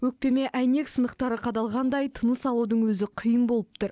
өкпеме әйнек сынықтары қадалғандай тыныс алудың өзі қиын болып тұр